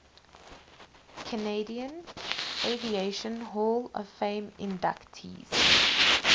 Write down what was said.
canadian aviation hall of fame inductees